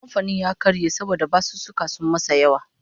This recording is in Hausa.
Kamfanin ya karye saboda basussuka sun masa yawa